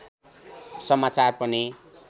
समाचार पनि